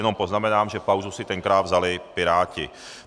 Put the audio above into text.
Jenom poznamenám, že pauzu si tenkrát vzali Piráti.